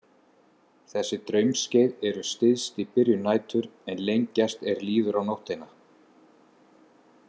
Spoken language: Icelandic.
Þessi draumskeið eru styst í byrjun nætur en lengjast er líður á nóttina.